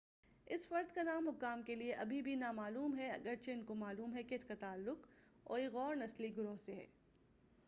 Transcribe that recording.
اس فرد کا نام حکام کے لئے اب بھی نا معلوم ہے اگرچہ ان کو معلوم ہے کہ اس کا تعلق اوئیغور نسلی گروہ سے ہے